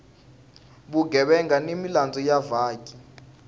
vugevenga ni milandzu ya vaaki